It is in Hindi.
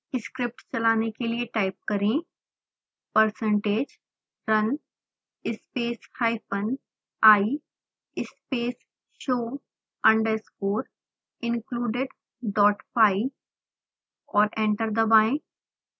स्क्रिप्ट चलाने के लिए टाइप करें